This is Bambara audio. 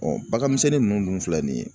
baganmisɛnnin ninnu dun filɛ nin ye.